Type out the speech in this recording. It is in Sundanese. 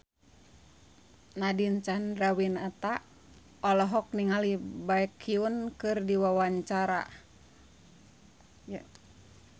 Nadine Chandrawinata olohok ningali Baekhyun keur diwawancara